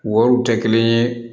Wariw tɛ kelen ye